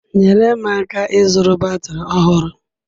Nyere m aka ịzụrụ batrị ọhụrụ.